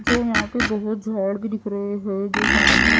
जो यहां पे बहोत झाड़ भी दिख रहे हैं जो सामने--